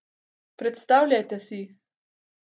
Predstavljajte si!